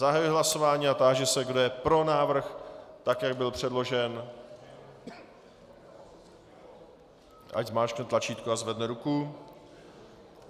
Zahajuji hlasování a táži se, kdo je pro návrh, tak jak byl předložen, ať zmáčkne tlačítko a zvedne ruku.